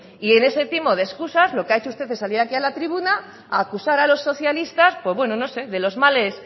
y en ese timo de escusas lo que ha hecho usted es salir aquí a la tribuna a acusar a los socialista pues bueno no sé de los males